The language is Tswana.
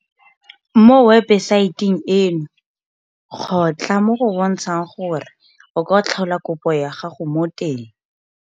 Mo webesaeteng eno kgotla mo go bontshang gore o ka tlhola kopo ya gago mo teng.